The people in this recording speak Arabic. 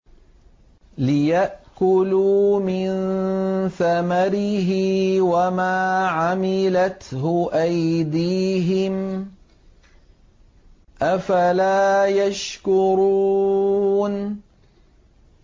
لِيَأْكُلُوا مِن ثَمَرِهِ وَمَا عَمِلَتْهُ أَيْدِيهِمْ ۖ أَفَلَا يَشْكُرُونَ